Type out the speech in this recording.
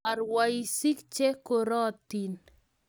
Karwoisik che korototin